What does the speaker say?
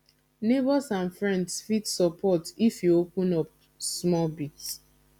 neighbours and friends fit support if you open up small bit